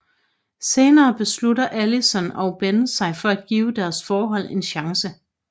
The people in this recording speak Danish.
Senere beslutter Allison og Ben sig for at give deres forhold en chance